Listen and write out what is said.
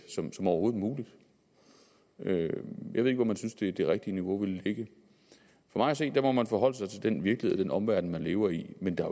som overhovedet muligt jeg ved ikke hvor man synes det det rigtige niveau ville ligge for mig at se må man forholde sig til den virkelighed og den omverden man lever i men der